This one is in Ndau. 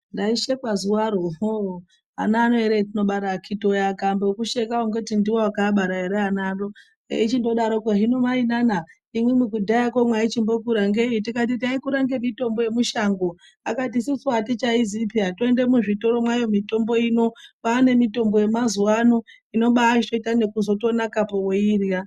Ndaishekwa zuvaro hlooo , ana ano ere vatinobara vakiti wee vakaambe kukusheka ungati ndiwee wakaabara ere ana anoo, eichindodaroko, 'hino mainana imwimwi kudhayako maichimbokura ngei.' Ndikati taikura ngemitombo yemushango akati isusu hatichaizivi peyaa, toende muzvitoro mayo mitombo inoo. Kwaa nemitombo yemazuvanoo inobaachitoito nekuzonakapo weiidyaa.